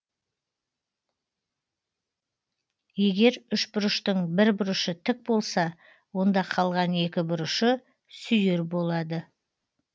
егер үшбұрыштың бір бұрышы тік болса онда қалған екі бұрышы сүйір болады